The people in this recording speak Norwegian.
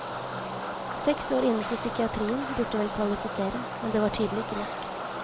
Seks år innenfor psykiatrien burde vel kvalifisere, men det var tydelig ikke nok.